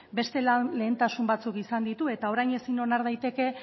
beste lan lehentasun batzuk izan ditu eta orain ezin onar daiteke